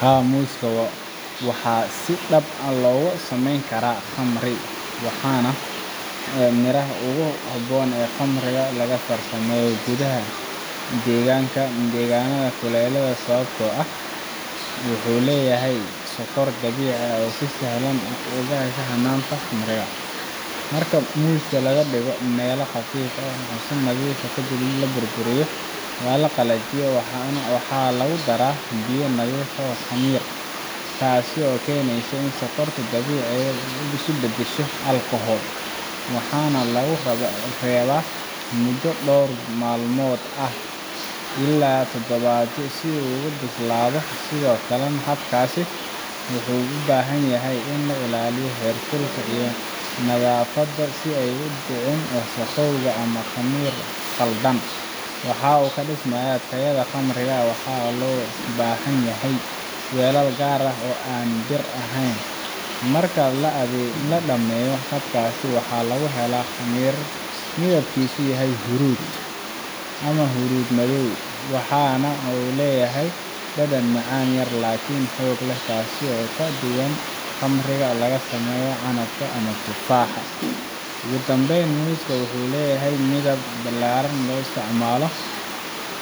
Haa muuska waxaa si dhab ah looga samayn karaa khamri waana miraha ugu habboon ee khamriga laga farsameeyo gudaha deegaanada kulaylaha ah sababtoo ah wuxuu leeyahay sokor dabiici ah oo si sahlan u gasha hanaanka khamiirka marka muuska la dhigo meel qafiif ah oo nadiif ah kadibna la burburiyo ama la jajabiyo waxaa lagu daraa biyo nadiif ah iyo khamiir taas oo keenaysa in sokorta dabiiciga ah ay isu beddesho alcohol waxaana lagu reebaa muddo dhowr maalmood ilaa toddobaadyo si uu u bislaado sidoo kale habkaas wuxuu u baahan yahay in la ilaaliyo heerkulka iyo nadaafadda si aanay u dhicin wasakhow ama khamiir khaldan oo wax u dhimaya tayada khamriga waxaana loo baahan yahay weelal gaar ah oo aan bir ahayn marka la dhammeeyo habkaas waxaa laga helaa khamri midabkiisu yahay huruud ama huruud-madow waxaana uu leeyahay dhadhan macaan-yar laakiin xoog leh taas oo ka duwan khamriga laga sameeyo canabka ama tufaaxa ugu dambayn muuska wuxuu yahay mid si ballaaran loo isticmaali